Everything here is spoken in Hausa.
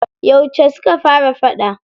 Yauce suka fara faɗa?